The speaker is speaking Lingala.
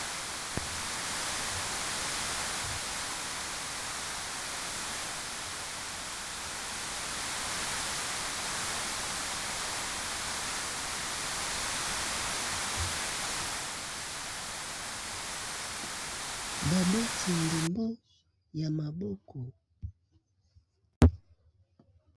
Babeti ndembo ya maboko.